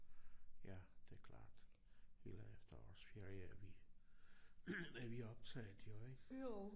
Ja det klart. Hele efterårsferie er vi er vi optaget jo ik